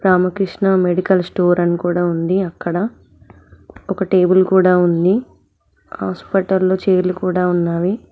Ramakrishna medical store అని కూడా ఉంది అక్కడ ఒక టేబుల్ కూడా ఉంది హాస్పిటల్ లో చైర్లు కూడా ఉన్నవి.